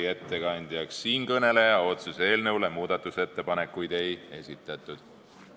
Ettekandjaks määrati siinkõneleja, otsuse eelnõu muutmiseks ettepanekuid ei esitatud.